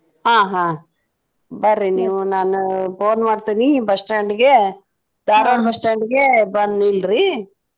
ಆ ಹಾ ಬರ್ರಿ ನೀವು ನಾನ್ phone ಮಾಡ್ತೇನಿ bus stand ಗೆ ಧಾರ್ವಾಡ್ bus stand ಗೆ ಬಂದ್ ನಿಲ್ರಿ.